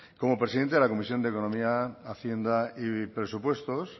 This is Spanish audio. como presidente de la comisión de economía hacienda y presupuestos